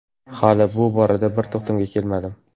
Hali bu borada bir to‘xtamga kelmadim.